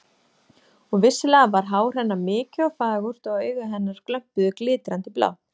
Og vissulega var hár hennar mikið og fagurt og augu hennar glömpuðu glitrandi blá.